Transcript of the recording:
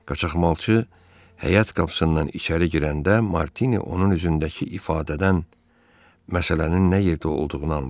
Qaçaqmalçı həyət qapısından içəri girəndə Martini onun üzündəki ifadədən məsələnin nə yerdə olduğunu anladı.